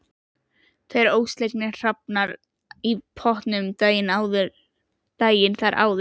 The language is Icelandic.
Tveir ólseigir hrafnar í pottinum daginn þar áður.